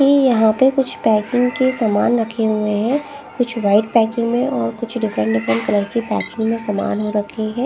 ये यहाँ पे कुछ पैकिंग के सामान रखे हुए हैं कुछ वाइट पैकिंग में और कुछ डिफरेंट डिफरेंट कलर की पैकिंग रखी हैं ।